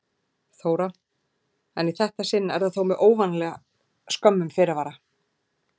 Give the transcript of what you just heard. Þóra: En í þetta sinn er það þó með óvanalega skömmum fyrirvara?